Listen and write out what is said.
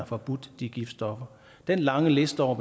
forbudt de giftstoffer den lange liste over